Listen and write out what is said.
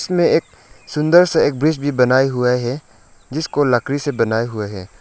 में एक सुंदर सा एक ब्रिज भी बनाए हुए हैं जिसको लकड़ी से बनाया हुए हैं।